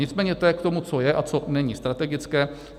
Nicméně to je k tomu, co je a co není strategické.